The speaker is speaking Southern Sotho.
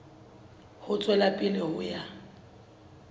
ho tswela pele ho ya